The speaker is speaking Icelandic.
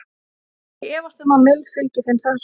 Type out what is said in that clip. Ég efast um að Mill fylgi þeim þar.